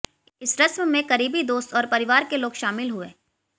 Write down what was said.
इस रस्म में करीबी दोस्त और परिवार के लोग शामिल हुए